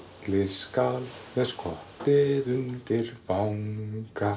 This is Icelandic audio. skal með skottið undir vanga